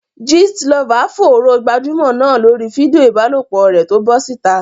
Gist lover fòòró gbajúmọ̀ náà lórí fídíò ìbálòpọ̀ rẹ̀ tó bọ́ síta.